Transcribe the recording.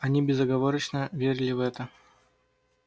они безоговорочно верили в это